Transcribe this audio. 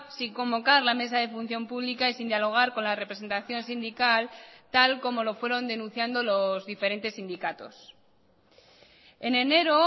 sin convocar la mesa de función pública y sin dialogar con la representación sindical tal como lo fueron denunciando los diferentes sindicatos en enero